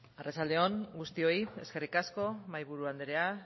arratsalde on guztioi eskerrik asko mahaiburu andrea